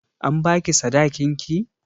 An ba ki sadakin ki?